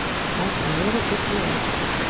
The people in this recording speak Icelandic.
Mótmæla erótískum auglýsingum